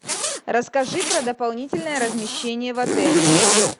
расскажи про дополнительное размещение в отеле